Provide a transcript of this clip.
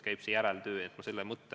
Järeltöö sellisel juhul peaks olema ka teada.